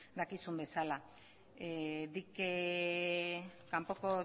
dakizun bezala kanpoko